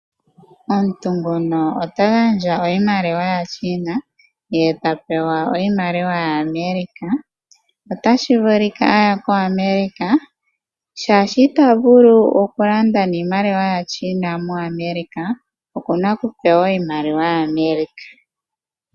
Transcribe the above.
Omuntu ngono ota gandja iimaliwa yaChina ye tapewa iimaliwa ya America. Otashi vulika aya ko America shaashi ita vulu oku landa niimaliwa ya China mo America okuna oku pewa iimaliwa ya America.